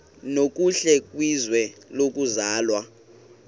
nokuhle kwizwe lokuzalwa